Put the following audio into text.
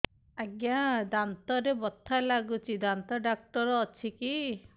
ଆଜ୍ଞା ଦାନ୍ତରେ ବଥା ଲାଗୁଚି ଦାନ୍ତ ଡାକ୍ତର ଅଛି କି